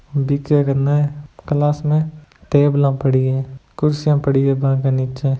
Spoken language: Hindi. ओ दिखे कने क्लास में टेबला पड़ी है कुर्सियां पड़ी है बांके नीचे।